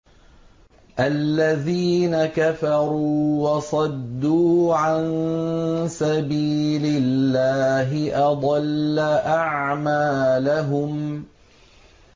الَّذِينَ كَفَرُوا وَصَدُّوا عَن سَبِيلِ اللَّهِ أَضَلَّ أَعْمَالَهُمْ